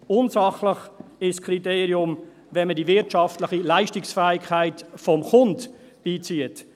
Unsachlich ist das Kriterium, wenn man die wirtschaftliche Leistungsfähigkeit des Kunden beizieht.